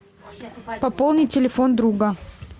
пополнить телефон друга